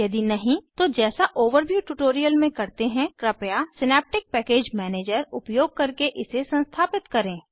यदि नहीं तो जैसा ओवरव्यू ट्यूटोरियल में करते हैंकृपया सिनेप्टिक पैकेज मैनेजर उपयोग करके इसे संस्थापित करें